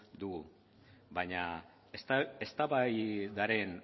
dugu baina eztabaidaren